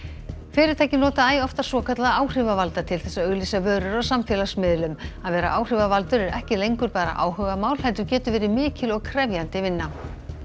fyrirtæki nota æ oftar svokallaða áhrifavalda til þess að auglýsa vörur á samfélagsmiðlum að vera áhrifavaldur er ekki lengur bara áhugamál heldur getur verið mikil og krefjandi vinna